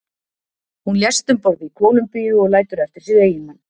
hún lést um borð í kólumbíu og lætur eftir sig eiginmann